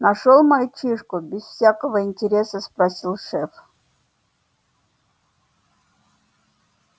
нашёл мальчишку без всякого интереса спросил шеф